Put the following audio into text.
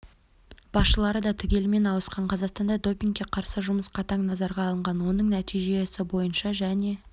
басшылары да түгелімен ауысқан қазақстанда допингке қарсы жұмыс қатаң назарға алынған оның нәтижесі бойынша және